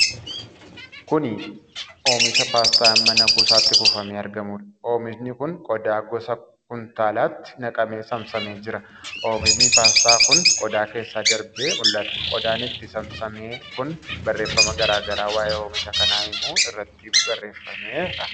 Kuni oomisha paastaa mana kuusaatti kuufamee argamuudha. Oomishi kun qodaa gosa kumtaalaatti naqamee saamsamee jira. Oomishi paastaa kun qodaa keessa darbee mul'ata. Qodaan itti saamsame kun barreefama garaa garaa waa'ee oomisha kanaa himu irratti baarreeffameera.